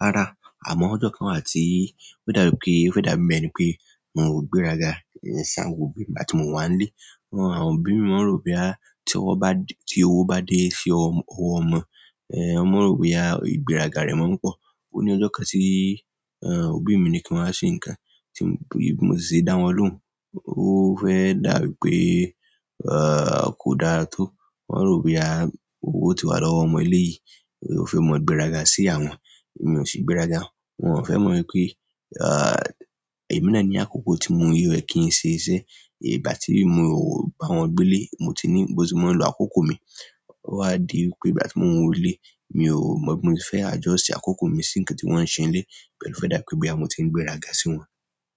rárá. Àmọ́ ọjọ́ kan wà tí ó dàbí pé, ó fẹ́ dà mí mọ̀ ni pé n ò gbéraga ìyàsán gbogbo nígbà tí mò ń wà nílé. Àwọn òbí mi wón rò wí pé tí owó bá dé sí ọmọ, ẹ́ ẹmọ rò wí pé ìgbéraga rẹ̀ máa ń pọ̀. Ó ní ọjọ́ kan tí òbí mi ní kí n wá ṣe nǹkan, tí bí mo sì ṣe dá wọn lóhùn. Ó fẹ́ dà bí pé kò dára tó, wón rò wí pé owó ti wà lọ́wọ́ ọmọ ilé yìí, ó fẹ́ mọ gbéraga sí àwọn, èmi ò sí gbéraga. Wọn ò fẹ́ mọ̀ wípé èmi náà ní àkókò tí mò ń rí rẹ̀ kí n ṣe iṣẹ́. Bá tí mò bá wọn gbé lé, mò ti ní ìgbó tí wón ń lo àkókò mi. Ó wá di wípé ìgbà tí mò ń wọlé, mi ò mọ̀ bí mo fẹ́ adjust àkókò mi sí nǹkan tí wọ́n ń ṣe ńlé. Bẹ́ẹ̀ ni ó fẹ́ dà wípé bí àmọ́ tí ń gbéraga sí wọn.